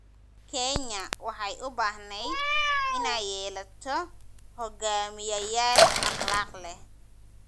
Kenya waxay u baahneyd inay yeelato hogaamiyayaal akhlaaq leh.